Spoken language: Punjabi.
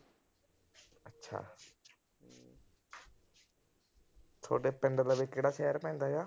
ਥੋਡੇ ਪਿੰਡ ਲਵੇ ਕਿਹੜਾ ਸ਼ਹਿਰ ਪੈਂਦਾ ਏ।